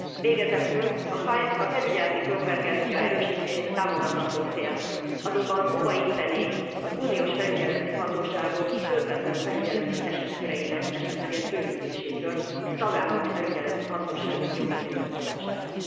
Végezetül a felügyeleti konvergencia erősítése támogatandó cél, azonban óva intenék az uniós felügyeleti hatóságok közvetlen felügyeleti esetköreinek esetleges bővítésétől, a tagállami felügyeleti hatóságok jogkörének rovására.